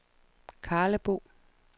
Karlebo